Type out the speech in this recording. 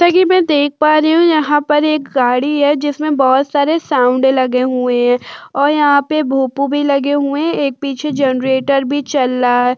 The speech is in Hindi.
जैसा कि मैं देख पा रही हूं यहाँ पर एक गाड़ी है जिसमें बहुत सारे साउंड लगे हुए हैं और यहाँ पे भोपू भी लगे हुए एक पीछे जनरेटर भी चल रहा है।